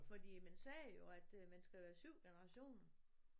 Fordi man siger jo at øh man skal være 7 generationer